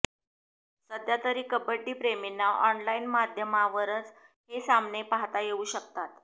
सध्यातरी कबड्डीप्रेमींना ऑनलाईन माध्यमांवरच हे सामने पाहता येऊ शकतात